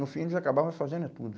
No fim, eles acabavam fazendo é tudo.